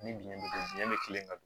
Ni biɲɛ be biyɛn bɛ kelen ka don